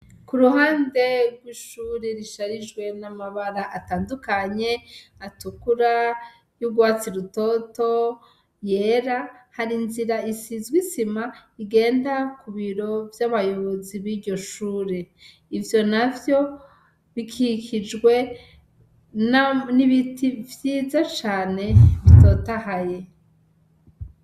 Ku ruhande rw'ishure risharijwe n'amabara atandukanye atukura y'urwatsi rutoto yera hari inzira isizwe isima igenda ku biro vy'abayobozi b'iryo shure ivyo na vyo bikikijwe n'ibiti vyiza cane bitotahaye.